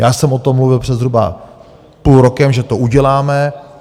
Já jsem o tom mluvil před zhruba půl rokem, že to uděláme.